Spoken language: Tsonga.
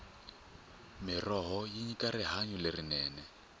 mirhoho yi nyika rihanyo lerinene